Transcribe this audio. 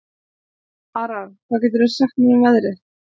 Aran, hvað geturðu sagt mér um veðrið?